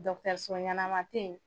so ɲanama tɛ ye.